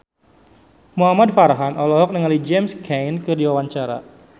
Muhamad Farhan olohok ningali James Caan keur diwawancara